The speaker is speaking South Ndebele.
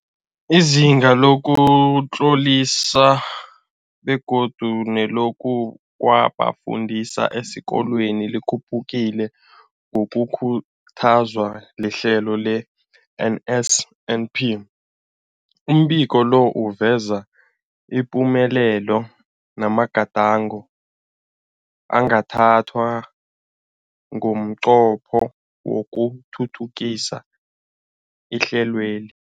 Izinga lokuzitlolisa begodu nelokuza kwabafundi esikolweni likhuphukile ngokukhuthazwa lihlelo le-NSNP. Umbiko lo uveza ipumelelo namagadango angathathwa ngomnqopho wokuthuthukisa ihlelweli.